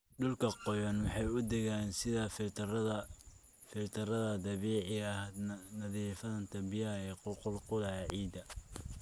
Dhulka qoyan waxay u adeegaan sida filtarrada dabiiciga ah, nadiifinta biyaha ku qulqulaya ciidda.